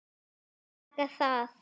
Taka það?